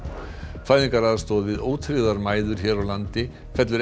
fæðingaraðstoð við ótryggðar mæður hér á landi fellur ekki